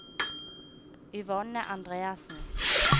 Yvonne Andreassen